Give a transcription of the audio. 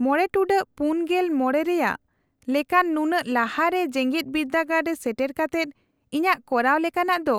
-᱕ᱹ᱔᱕ ᱨᱮᱭᱟᱜ ᱞᱮᱠᱟᱱ ᱱᱩᱱᱟᱹᱜ ᱞᱟᱦᱟ ᱨᱮ ᱡᱮᱜᱮᱫ ᱵᱤᱨᱫᱟᱹᱜᱟᱲ ᱨᱮ ᱥᱮᱴᱮᱨ ᱠᱟᱛᱮᱫ ᱤᱧᱟᱹᱜ ᱠᱚᱨᱟᱣ ᱞᱮᱠᱟᱱᱟᱜ ᱫᱚ